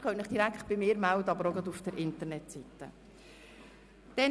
Sie können sich direkt bei mir oder auf der Internetseite melden.